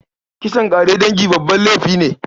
Kisan ƙare dangi babban laifi ne.